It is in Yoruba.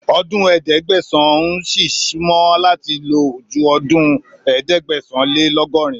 Ọdún Ẹgbẹ̀sán n ṣì súnmọ́ láti lò ju ọdún ẹ̀ẹ́dẹ́gbẹ̀sán-lé-lọ́gọrin.